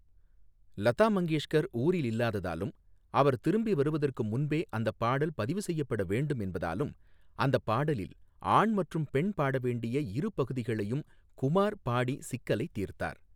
லதா மங்கேஷ்கர் ஊரில் இல்லாததாலும், அவர் திரும்பி வருவதற்கு முன்பே அந்தப் பாடல் பதிவு செய்யப்பட வேண்டும் என்பதாலும், அந்தப் பாடலில் ஆண் மற்றும் பெண் பாட வேண்டிய இரு பகுதிகளையும் குமார் பாடிச் சிக்கலைத் தீர்த்தார்.